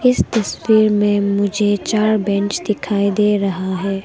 इस तस्वीर में मुझे चार बेंच दिखाई दे रहा हैं।